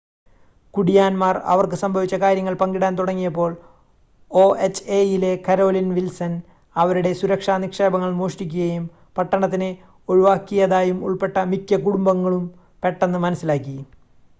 കുടിയാന്മാർ അവർക്ക് സംഭവിച്ച കാര്യങ്ങൾ പങ്കിടാൻ തുടങ്ങിയപ്പോൾ ഒഎച്ച്എയിലെ കരോലിൻ വിൽസൺ അവരുടെ സുരക്ഷാ നിക്ഷേപങ്ങൾ മോഷ്ടിക്കുകയും പട്ടണത്തിന് ഒഴിവാക്കിയതായും ഉൾപ്പെട്ട മിക്ക കുടുംബങ്ങളും പെട്ടെന്ന് മനസ്സിലാക്കി